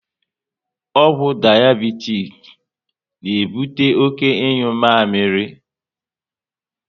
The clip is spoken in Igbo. Ọgwụ dayabitis na ebute oké ịnyu mamịrị